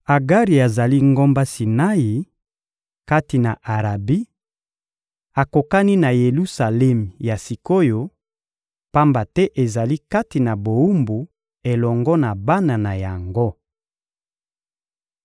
Agari azali ngomba Sinai kati na Arabi, akokani na Yelusalemi ya sik’oyo, pamba te ezali kati na bowumbu elongo na bana na yango.